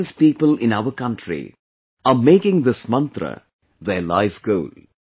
Countless people in our country are making this mantra their life goal